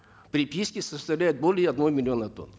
приписки составляют более одного миллиона тонн